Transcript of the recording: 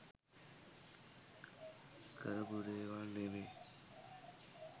කරපු දේවල් නෙමේ.